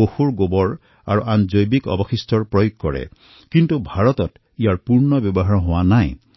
পশুৰ গোবৰ তথা অন্য জৈৱিক অৱশিষ্টৰ প্ৰয়োগ শক্তিৰ উৎপাদনৰ বাবে কৰা হয় কিন্তু ভাৰতত ইয়াৰ পূৰ্ণ প্ৰয়োগ কৰা নহয়